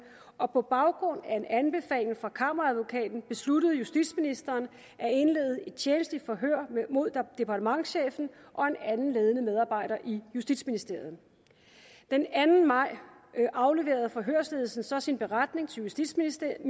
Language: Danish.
og på baggrund af en anbefaling fra kammeradvokaten besluttede justitsministeren at indlede et tjenstligt forhør mod departementschefen og en anden ledende medarbejder i justitsministeriet den anden maj afleverede forhørsledelsen så sin beretning til justitsministeren